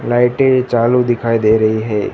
लाइटें चालू दिखाई दे रही है।